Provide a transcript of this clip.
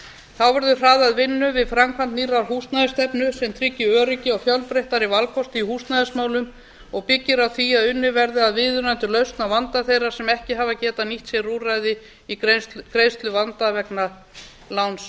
þá verður hraðað vinnu við framkvæmd nýrrar húsnæðisstefnu sem tryggir öryggi og fjölbreyttari valkost í húsnæðismálum og byggir á því að unnið verði að viðunandi lausn á vanda þeirra sem ekki hafa getað nýtt sér úrræði í greiðsluvanda vegna lánsveða